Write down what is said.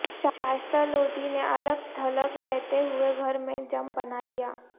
شائشہ لودھی نے الگ تھلگ رہتے ہوئے گھر میں جم بنا لیا